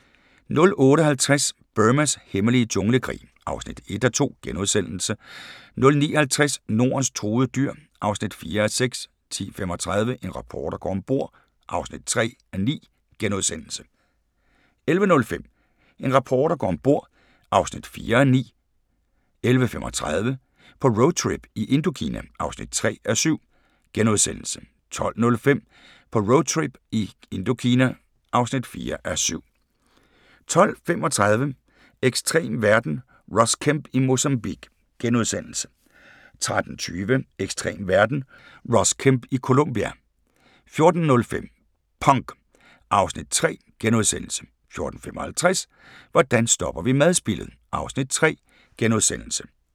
08:50: Burmas hemmelige junglekrig (1:2)* 09:50: Nordens truede dyr (4:6) 10:35: En reporter går om bord (3:9)* 11:05: En reporter går om bord (4:9) 11:35: På roadtrip i Indokina (3:7)* 12:05: På roadtrip i Indokina (4:7) 12:35: Ekstrem verden – Ross Kemp i Mozambique * 13:20: Ekstrem verden – Ross Kemp i Colombia 14:05: Punk (Afs. 3)* 14:55: Hvordan stopper vi madspildet? (Afs. 3)*